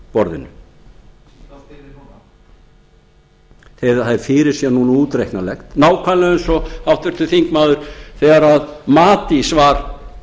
borðinu eða það er fyrirséð núna og útreiknanlegt nákvæmlega eins og háttvirtur þingmaður þegar matís var